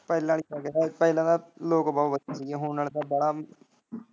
ਪਹਿਲਾਂ ਆਲੀ ਗੱਲਬਾਤ, ਪਹਿਲਾਂ ਤਾਂ ਲੋਕ ਬਹੁਤ ਵਧੀਆ ਹੁਣ ਨਾਲੇ ਨਾ ਵਾਲਾ।